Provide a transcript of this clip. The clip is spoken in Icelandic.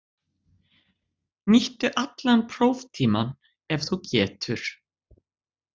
Nýttu allan próftímann ef þú getur.